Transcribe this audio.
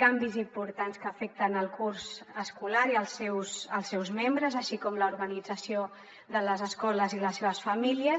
canvis importants que afecten el curs escolar i els seus membres així com l’organització de les escoles i les seves famílies